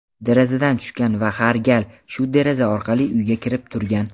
derazadan tushgan va har gal shu deraza orqali uyga kirib turgan.